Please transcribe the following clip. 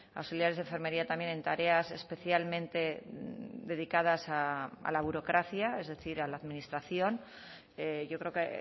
auxiliares de enfermería también en tareas especialmente dedicadas a la burocracia es decir a la administración yo creo que